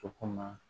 O ko ma